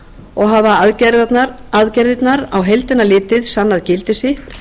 og hafa aðgerðirnar á heildina litið sannað gildi sitt